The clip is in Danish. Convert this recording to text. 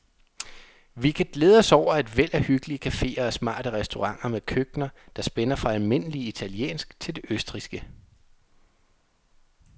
Vi kan glæde os over et væld af hyggelige caféer og smarte restauranter med køkkener, der spænder fra almindelig italiensk til det østrigske.